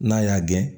N'a y'a gɛn